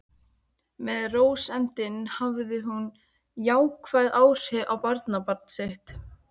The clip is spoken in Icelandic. Með rósemdinni hafði hún jákvæð áhrif á barnabarn sitt.